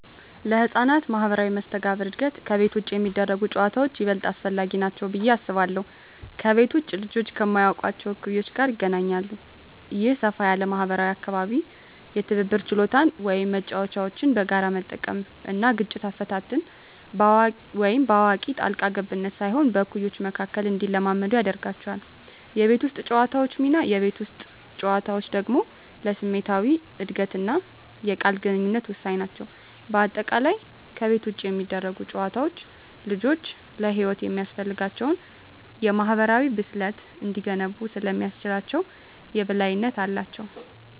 ለሕፃናት ማኅበራዊ መስተጋብር እድገት ከቤት ውጭ የሚደረጉ ጨዋታዎች ይበልጥ አስፈላጊ ናቸው ብዬ አስባለሁ። ከቤት ውጭ ልጆች ከማያውቋቸው እኩዮች ጋር ይገናኛሉ። ይህ ሰፋ ያለ ማኅበራዊ አካባቢ የትብብር ችሎታን (መጫወቻዎችን በጋራ መጠቀም) እና ግጭት አፈታትን (በአዋቂ ጣልቃ ገብነት ሳይሆን በእኩዮች መካከል) እንዲለማመዱ ያደርጋቸዋል። የቤት ውስጥ ጨዋታዎች ሚና: የቤት ውስጥ ጨዋታዎች ደግሞ ለስሜታዊ እድገትና የቃል ግንኙነት ወሳኝ ናቸው። በአጠቃላይ፣ ከቤት ውጭ የሚደረጉ ጨዋታዎች ልጆች ለሕይወት የሚያስፈልጋቸውን የማኅበራዊ ብስለት እንዲገነቡ ስለሚያስችላቸው የበላይነት አላቸው።